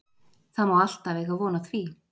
Það má alltaf eiga von á því.